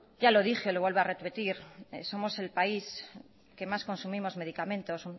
ya lo dije y lo vuelvo a repetir somos el país que más consumimos medicamentos